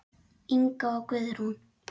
Inga og Guðrún.